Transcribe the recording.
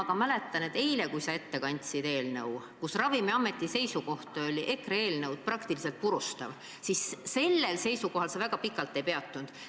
Ma mäletan, et eile, kui sa rääkisid EKRE eelnõust, mille puhul Ravimiameti seisukoht oli eelnõu praktiliselt purustav, siis sellel seisukohal sa väga pikalt ei peatunud.